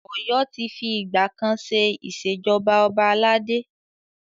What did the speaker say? Ọ̀yọ́ ti fi ìgbà kan ṣe Ìṣèjọba ọba aládé.